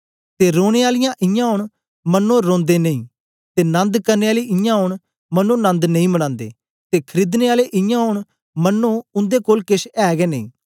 ते रोने आले इयां ओंन मन्नो रोंदे नेई ते नंद करने आले इयां ओंन मन्नो नंद नेई मनांदे ते खरीदने आले इयां ओंन मन्नो उन्दे कोल केछ ऐ गै नेई